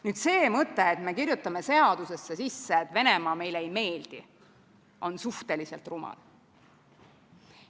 Nüüd see mõte, et me kirjutame seadusesse sisse, et Venemaa meile ei meeldi, on suhteliselt rumal.